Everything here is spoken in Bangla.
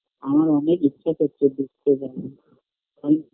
আমার অনেক ইচ্ছা করছে ঘুরতে যাওয়ার আমি